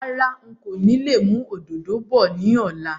Rárá, ń kò lè mú òdòdó bọ̀ ni ọ̀la